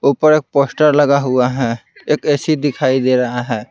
ऊपर एक पोस्टर लगा हुआ है एक ए_सी दिखाई दे रहा है।